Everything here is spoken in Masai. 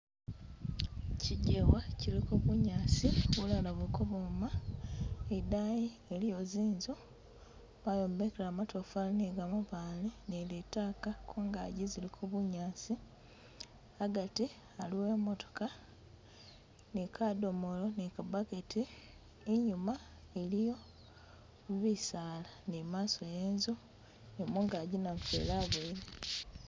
kyigewa kiliko bunyaasi bulala buliko bwoona idayi waliyo zinzu bayombekela matofali ni gamabaale ni litaaka kungazi ziliko bunyaasi hagati haliwo imootoka ni kadomolo ni ka burket inyuma iliyo bisaala ni maso ye inzu ni mungagi namufeli aboyele.